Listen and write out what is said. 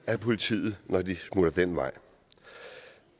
ad politiet når de smutter den vej